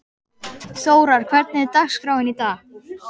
Þórar, hvernig er dagskráin í dag?